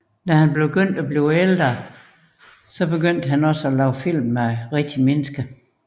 Efterhånden som han blev ældre begyndte han også at lave film med rigtige mennesker